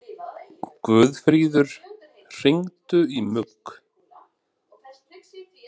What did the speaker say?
Guðfríður, hringdu í Mugg.